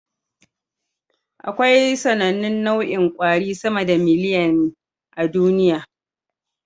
Akwai sAnannun nau'in kwari sama da miliyan a duniya